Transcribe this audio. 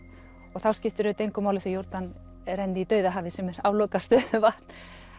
og þá skiptir auðvitað engu máli þó Jórdan renni í dauðahafið sem er aflokað stöðuvatn